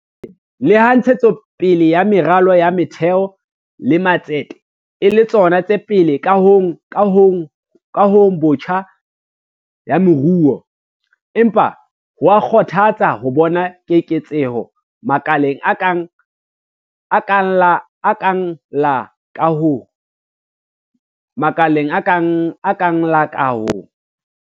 Leha ntshetso pele ya meralo ya motheo le matsete e le tsona tse pele kahong botjha ya moruo, empa ho a kgothatsa ho bona keketseho makaleng a kang la kaho.